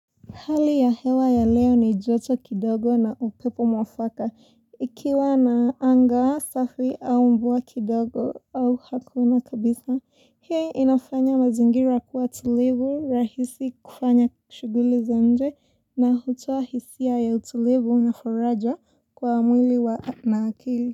Hali ya hewa ya leo ni joto kidogo na upepo mwafaka. Ikiwa na anga safi au mvua kidogo au hakuna kabisa. Hiyo inafanya mazingira kuwa tulivu rahisi kufanya kushuguli za nje na hutoa hisia ya utulivu na faraja kwa mwili na akili.